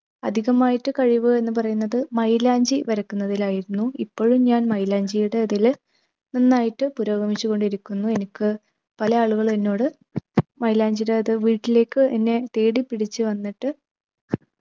അധികമായിട്ട് കഴിവ് എന്നു പറയുന്നത് മൈലാഞ്ചി വരക്കുന്നതിലായിരുന്നു. ഇപ്പോഴും ഞാൻ മൈലാഞ്ചിടെ ഇതിൽ നന്നായിട്ട് പുരോഗമിച്ചുകൊണ്ടിരിക്കുന്നു. എനിക്ക് പല ആളുകളും എന്നോട് മൈലാഞ്ചിടെ ഒരു വീട്ടിലേക്ക് എന്നെ തേടിപ്പിടിച്ചു വന്നിട്ട്